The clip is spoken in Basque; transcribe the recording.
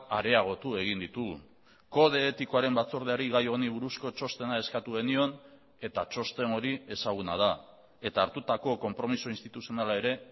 areagotu egin ditugu kode etikoaren batzordeari gai honi buruzko txostena eskatu genion eta txosten hori ezaguna da eta hartutako konpromiso instituzionala ere